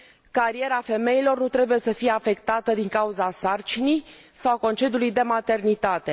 Cariera femeilor nu trebuie să fie afectată din cauza sarcinii sau a concediului de maternitate.